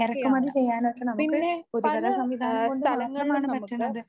ഇറക്കുമതി ചെയ്യാനുമൊക്കെ നമുക്ക് പൊതുഗതാഗത സംവിധാനം കൊണ്ട് മാത്രമാണ് പറ്റണത്.